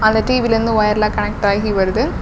அந்த டி_வியிலிருந்து ஒயரெல்லா கனெக்ட் ஆகி வருது.